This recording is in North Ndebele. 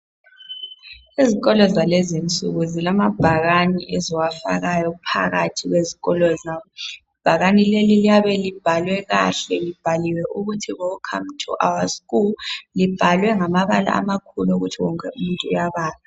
Ezikolo zalezi insuku zilamabhakane eziwafaka phakathi ezikolo zabo. Ibhakane lelo liyabe libhalwe kahle libhaliwe ukuthi welcome to school libhalwe ngamabala amakhulu ukuthi wonke umuntu uyabala.